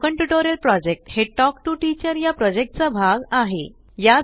spoken tutorial project हे talk to teacher या project चा भाग आहे